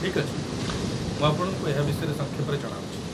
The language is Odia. ଠିକ୍ ଅଛି, ମୁଁ ଆପଣଙ୍କୁ ଏହା ବିଷୟରେ ସଂକ୍ଷେପରେ ଜଣାଉଛି